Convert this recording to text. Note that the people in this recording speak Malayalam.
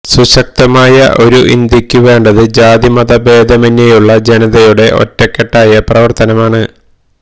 സുശക്തമായ ഒരു ഇന്ത്യയ്ക്കു വേണ്ടത് ജാതിമത ഭേദമന്യെയുള്ള ജനതയുടെ ഒറ്റക്കെട്ടായ പ്രവര്ത്തനമാണ്